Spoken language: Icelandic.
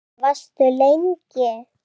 Varstu lengi?